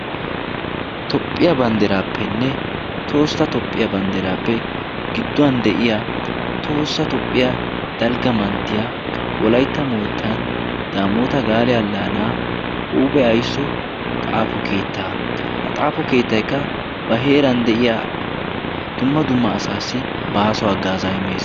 Tophphiya bandderaappenne toossa tophphiya bandderaappe gidduwan de'iya toossa tophphiya dalgga manttiya wolaitta moottan daamoota gaale allaanaa huuphe aisso xaafo keettaa. ha xaafo keettaikka ba heeran de'iya dumma dumma asaassi baaso haggaazaa immees.